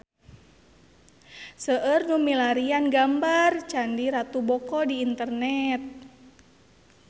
Seueur nu milarian gambar Candi Ratu Boko di internet